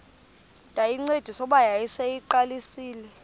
ndayincedisa kuba yayiseyiqalisile